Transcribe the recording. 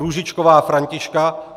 Růžičková Františka